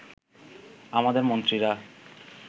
আমাদের মন্ত্রীরা